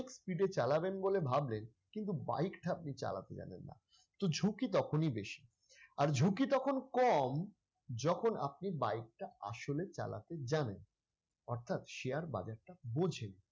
speed এ চালাবেন বলে ভাবলেন কিন্তু bike টা আপনি চালাতে জানেন না তো ঝুকি তখনই বেশি আর ঝুঁকি তখন কম যখন আপনি bike টা আসলে চালাতে জানেন অর্থাৎ share বাজারটা বোঝেন।